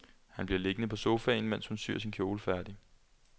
Han bliver liggende på sofaen, mens hun syr sin kjole færdig.